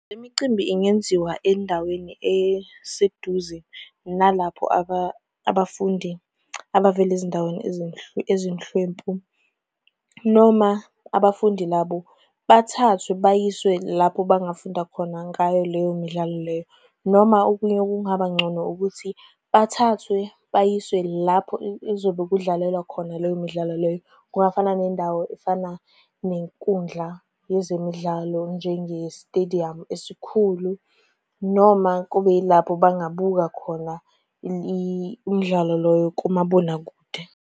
Le micimbi ingenziwa endaweni eseduze nalapho abafundi abavela ezindaweni ezinhlwempu, noma abafundi labo bathathwe bayiswe lapho bangafunda khona ngayo leyo midlalo leyo. Noma okunye okungaba ngcono ukuthi, bathathwe bayiswe lapho kuzobe kudlalelwa khona leyo midlalo leyo. Kungafana nendawo efana lo nenkundla yezemidlalo njenge stediyamu esikhulu. Noma kube yilapho bengabuka khona imidlalo loyo kumabonakude.